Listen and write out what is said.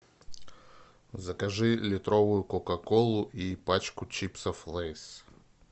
закажи литровую кока колу и пачку чипсов лейс